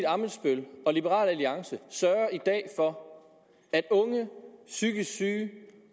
ammitzbøll og liberal alliance sørger i dag for at unge psykisk syge